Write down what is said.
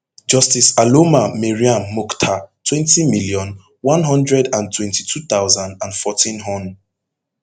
justice aloma mariam mukhtar twenty million, one hundred and twenty-two thousand and fourteen hon